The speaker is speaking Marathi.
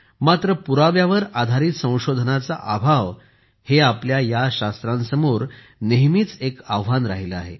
मात्र पुराव्यावर आधारित संशोधनाचा अभाव हे आपल्या या शास्त्रांसमोर नेहमीच एक आव्हान राहिले आहे